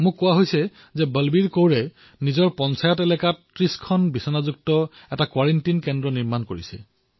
মোক কোৱা হৈছে যে বলবীৰ কৌৰজীয়ে নিজৰ পঞ্চায়তত ৩০খন বিচনাযুক্ত এক কোৱাৰেণ্টিন কেন্দ্ৰ স্থাপন কৰিছে